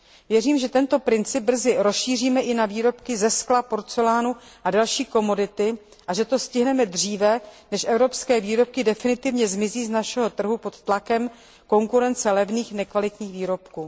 Věřím, že tento princip brzy rozšíříme i na výrobky ze skla, porcelánu a další komodity a že to stihneme dříve, než evropské výrobky definitivně zmizí z našeho trhu pod tlakem konkurence levných nekvalitních výrobků.